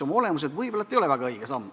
Oma olemuselt see võib-olla pole väga õige samm.